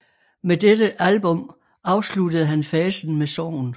Med dette album afsluttede han fasen med sorgen